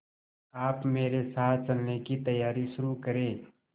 आप मेरे साथ चलने की तैयारी शुरू करें